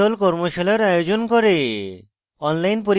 tutorials ব্যবহার করে কর্মশালার আয়োজন করে